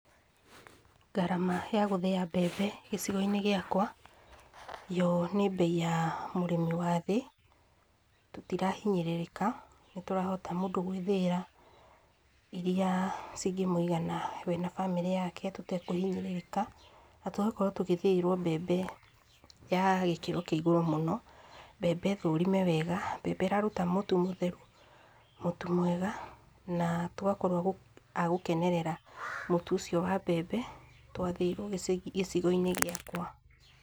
Ngarama ya gũthĩya mbembe gicigo-inĩ gĩakwa, yo nĩ mbei ya mũrĩmi wathĩ, tũtirahinyĩrĩrĩka, nĩ tũrahota mũndũ gwĩthĩĩra iria cingĩmwĩigana we na bamĩrĩ yake, tũtekũhinyĩrĩrĩka, na tũgakorwo tũgĩthĩĩrwo mbembe ya gĩkĩro kĩa igũrũ mũno, mbembe thũrime wega, mbembe ĩraruta mũtu mũtheru, mũtu mwega, na tũgakorwo a agũkenerera mũtu ũcio wa mbembe, twathĩĩrwo gĩcĩ gĩcigo-inĩ gĩakwa,